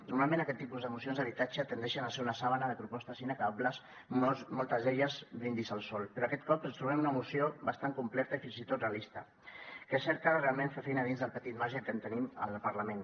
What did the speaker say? normalment aquest tipus de mocions d’habitatge tendeixen a ser un llençol de propostes inacabables moltes d’elles brindis al sol però aquest cop ens trobem una moció bastant completa i fins i tot realista que cerca realment fer feina dins del petit marge que tenim al parlament